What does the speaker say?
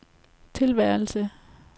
tilværelse